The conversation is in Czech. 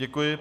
Děkuji.